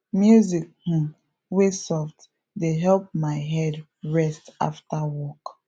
music um wey soft dey help my head rest after work